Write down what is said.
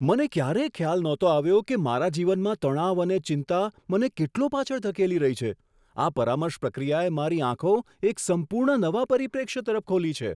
મને ક્યારેય ખ્યાલ નહોતો આવ્યો કે મારા જીવનમાં તણાવ અને ચિંતા મને કેટલો પાછળ ધકેલી રહી છે. આ પરામર્શ પ્રક્રિયાએ મારી આંખો એક સંપૂર્ણ નવા પરિપ્રેક્ષ્ય તરફ ખોલી છે!